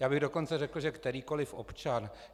Já bych dokonce řekl, že kterýkoliv občan.